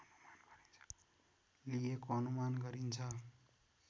लिएको अनुमान गरिन्छ